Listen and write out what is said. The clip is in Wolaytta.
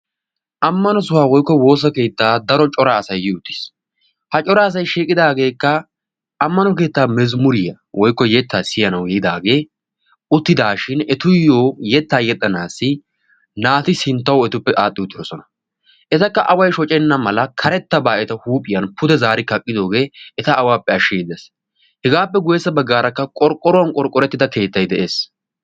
Ammano sohuwa woyikko woosakeetta daro cora asay yi uttis. ha cora asayi shiiqidaageekka ammano keettaa yettaa woyikko mazammuriya siyanawu yiidaagee uttidaashin etuyyoo yettaa yexxanaassi naati etuppe sinttawu adhdhi uttidosona. etakka away shocenna mala karettabaa eta huuphiyan pude zaari kaqqi wottidooge eta awaappe ashshiiddi de'ees. hegaappe guyyessa baggaara qorqqoruwan qorqqorettida keettay de'ees.